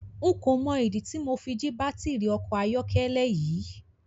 N kò mọ ìdí tí Mo fi jí baátìrì ọkọ̀ ayọ́kẹ́lẹ́ yín.